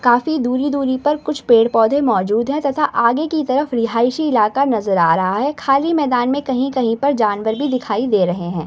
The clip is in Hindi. काफी दूरी-दूरी पर कुछ पेड़-पौधे मौजूद हैं तथा आगे की तरफ रिहासी इलाका नज़र आ रहा है खाली मैदान में कहीं-कहीं पर जानवर भी दिखाई दे रहे हैं।